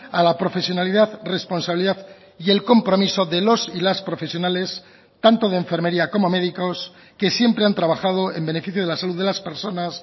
a la profesionalidad responsabilidad y el compromiso de los y las profesionales tanto de enfermería como médicos que siempre han trabajado en beneficio de la salud de las personas